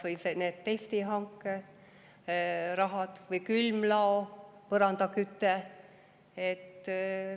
Toome siia kõrvale kas või testihanke raha või külmlao põrandakütte.